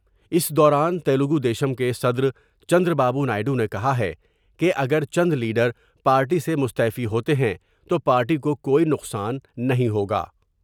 اس دوران تیلگو دیشم کے صدر Chandrababu Naidu نے کہا ہے کہ اگر چندلیڈر پارٹی سے مستعفی ہوتے ہیں تو پارٹی کو کوئی نقصان نہیں ہوگا ۔